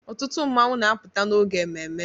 Ọtụtụ mmanwụ na-apụta n'oge ememme.